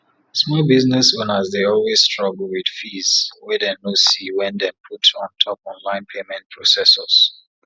small business owners dey always struggle with fees wey dem no see wey dem put untop online payment processors